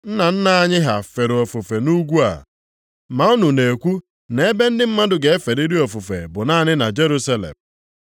Nna nna anyị ha fere ofufe nʼugwu a, ma unu na-ekwu nʼebe ndị mmadụ ga-eferịrị ofufe bụ naanị na Jerusalem.”